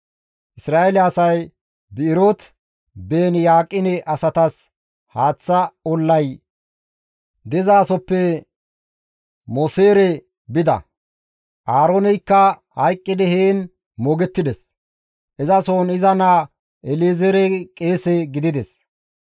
[Isra7eele asay Bi7erooti-Beeni-Yaqine asatas haaththa ollay dizasoppe Moseere bida; Aarooneykka hayqqidi heen moogettides; izasohon iza naa El7ezeerey qeese gidides.